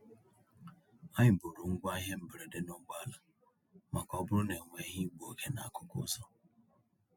Anyị buuru ngwa ihe mberede n'ụgbọ ala maka ọ bụrụ na e nwere igbu oge n'akụkụ ụzọ.